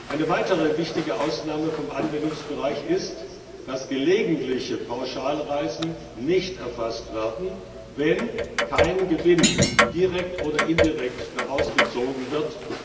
Eine weitere wichtige Ausnahme vom Anwendungsbereich ist, dass gelegentliche Pauschalreisen nicht erfasst werden, wenn kein Gewinn direkt oder indirekt daraus gezogen wird.